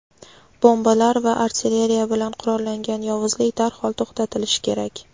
bombalar va artilleriya bilan qurollangan yovuzlik darhol to‘xtatilishi kerak.